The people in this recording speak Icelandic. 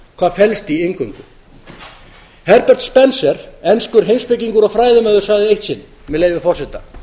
hvað felst í inngöngu herbert spencer enskur heimspekingur og fræðimaður liði eitt sinn með leyfi forseta